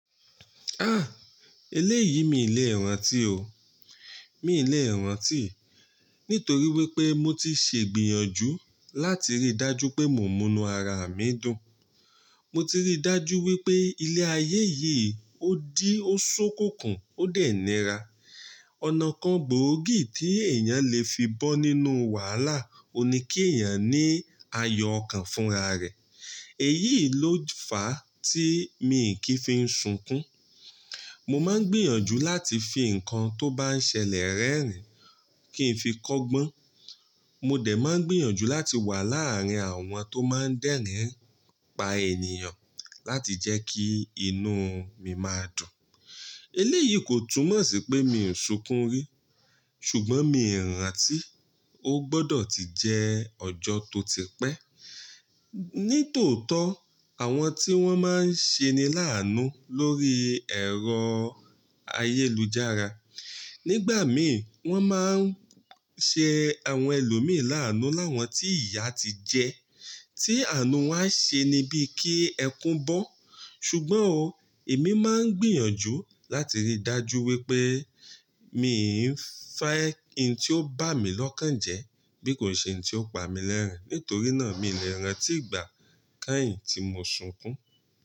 Ah! Eléyìí mi ì lè rántí o. Mi ì lè e rántí, nítorí wípé mo ti sè gbìyànjú láti rí dájú pé mo ń múnú ara mi dùn. Mo ti rí dájú wípé ilé ayé yìí ó dí ó ṣókùnkùn ó dé nira. Ọ̀nà kan gbòógì tí èèyàn le fi bọ́ nínú wàhálà òun ní kí èèyàn ní ayọ̀ ọkan fúnra rẹ̀. Èyií ló fàá tí mi i kìí fi ń sunkún. Mo má ń gbìyànjú láti fi nǹkan tó bá ń ṣẹlẹ̀ rẹ́rìn-ín kí n fi kọ́gbọ́n. Mo dẹ̀ má ń gbìyànjú láti wà láàrin àwọn tó má ń dẹ́rìn-ín pa ènìyàn láti jẹ́ kí inú mi máa dùn. Eléyìí kò túmọ̀ sí pé mi i sunkún rí, ṣùgbọ́n mi i rántí, ó gbọdọ̀ ti jẹ́ ọjọ́ tó ti pẹ́. Nítòótọ́ àwọn tí wọ́n má ń ṣeni láánú lórí ẹ̀rọ ayélujára. Nígbà míi wọ́n má ń ṣe àwọn ẹlòmíi láánú láwọn tí ìyà ti jẹ, tí àánú woń a ṣeni bií kí ẹkún bọ́. Ṣùgbọ́n o, èmi má ń gbìyànjú láti rí dájú wípé mi i n fẹ́ hin tí ó bámi lọ́kàn jẹ́ bí kò ṣe hin tí ó pa mi lẹ́rìn-ín. Nítorí náà mii lè rántí ìgbà kẹ́yìn tí mo sunkún.